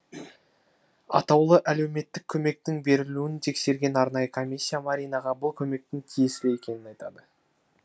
атаулы әлеуметтік көмектің берілуін тексерген арнайы комиссия маринаға бұл көмектің тиесілі екенін айтады